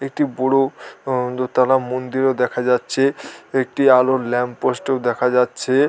একটি বড় আ হ দোতলা মন্দিরও দেখা যাচ্ছে | একটি আলোর ল্যাম্প পোস্টও দেখা যাচ্ছে।